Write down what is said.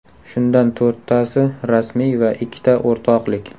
Shundan to‘rttasi rasmiy va ikkita o‘rtoqlik.